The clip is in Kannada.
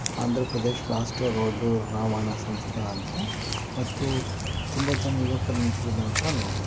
ಆಂಧ್ರ ಪ್ರದೇಶ್ ರಾಷ್ಟ್ರ ರೋಡ್ಡು ರಾವಣ ಸಂಸ್ಥ ಅಂತ ಮತ್ತು ತುಂಬಾ ಜನ ಯುವಕರು ನಿಂತಿರುವುದನ್ನ ನೋಡಬಹುದು.